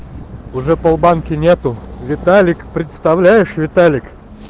уже полбанки нету виталик представляешь виталик